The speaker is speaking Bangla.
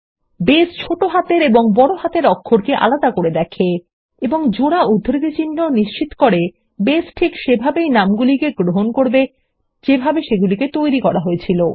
আমরা জানি যে বেস কেস সংবেদনশীল এবং জোড়া উদ্ধৃতিচিহ্ন নিশ্চিত করে বেস সেভাবেই নামগুলি গ্রহণ করবে যেভাবে সেগুলি তৈরী হয়েছিল